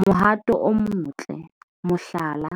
Mohato o motle, mohlala,